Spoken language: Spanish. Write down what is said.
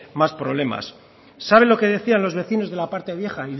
más problemas sabe lo que decían los vecinos de la parte vieja